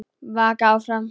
Vaka áfram.